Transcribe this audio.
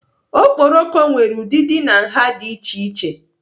Okporoko nwere ụdịdị na nha dị iche iche.